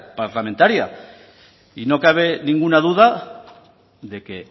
parlamentaria y no cabe ninguna duda de que